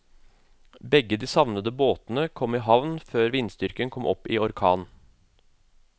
Begge de savnede båtene kom i havn før vindstyrken kom opp i orkan.